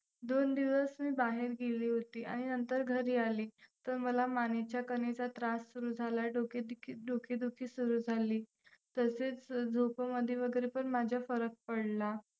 दोन दिवस मी बाहेर गेले होती आणि नंतर घरी आले तर मला मानेच्या कणेचा त्रास सुरू झाला, डोकेदुखी सुरू झाली तसेच झोपेमध्ये वगैरे पण माझ्या फरक पडला.